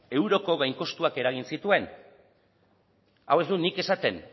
euroko gainkostuan eragin zituen hau ez dut nik esaten